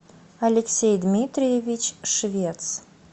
алексей дмитриевич швец